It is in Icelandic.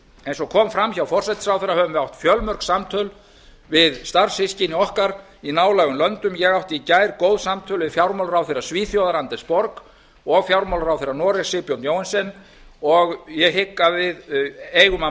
eins og kom fram hjá forsætisráðherra höfum við átt fjölmörg samtöl við starfssystkini okkar í nálægum löndum ég átti í gær góð samtöl við fjármálaráðherra svíþjóðar anders borg og fjármálaráðherra noregs sigbjörn johansen og ég hygg að við eigum að